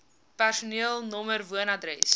personeel nr woonadres